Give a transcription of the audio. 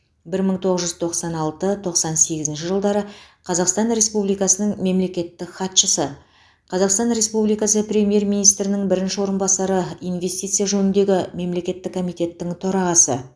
бір мың тоғыз жүз тоқсан алты тоқсан сегізінші жылдары қазақстан республикасының мемлекеттік хатшысы қазақстан республикасы премьер министрінің бірінші орынбасары инвестиция жөніндегі мемлекеттік комитеттің төрағасы